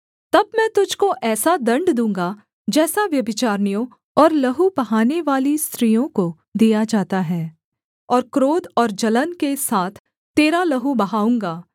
तब मैं तुझको ऐसा दण्ड दूँगा जैसा व्यभिचारिणियों और लहू बहानेवाली स्त्रियों को दिया जाता है और क्रोध और जलन के साथ तेरा लहू बहाऊँगा